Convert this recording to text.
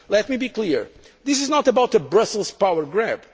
Let me be clear this is not about a Brussels power